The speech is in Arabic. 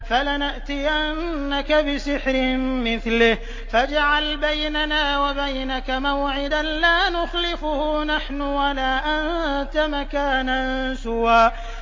فَلَنَأْتِيَنَّكَ بِسِحْرٍ مِّثْلِهِ فَاجْعَلْ بَيْنَنَا وَبَيْنَكَ مَوْعِدًا لَّا نُخْلِفُهُ نَحْنُ وَلَا أَنتَ مَكَانًا سُوًى